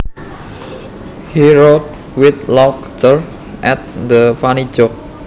He roared with laughter at the funny joke